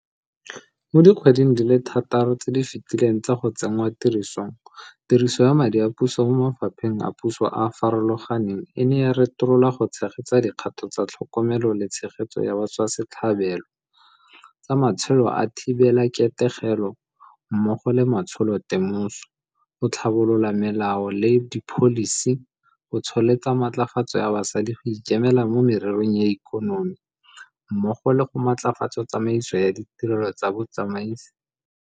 Mo dikgweding di le thataro tse di fetileng tsa go tsenngwatirisong, tiriso ya madi a puso mo mafapheng a puso a a farologaneng e ne ya retololwa go tshegetsa dikgato tsa tlhokomelo le tshegetso ya batswasetlhabelo, tsa matsholo a thibelaketegelo mmogo le matsholotemoso, go tlhabolola melao le dipholisi, go tsholetsa matlafatso ya basadi go ikemela mo mererong ya ikonomi, mmogo le go matlafatsa tsamaiso ya tirelo ya bosiamisi.